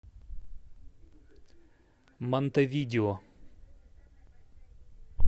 монтевидео